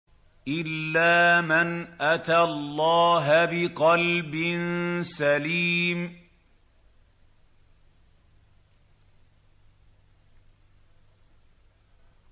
إِلَّا مَنْ أَتَى اللَّهَ بِقَلْبٍ سَلِيمٍ